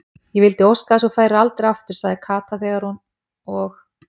Ég vildi óska þess að þú færir aldrei aftur sagði Kata þegar hún og